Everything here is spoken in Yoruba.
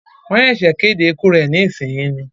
Wọ́n ṣẹ̀sẹ̀ kéde ikú rẹ ní ìsìn yìí ni